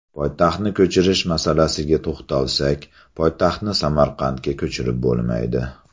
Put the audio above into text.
Poytaxtni ko‘chirish masalasiga to‘xtalsak, poytaxtni Samarqandga ko‘chirib bo‘lmaydi.